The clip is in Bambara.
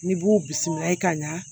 N'i b'u bisimilayi ka ɲa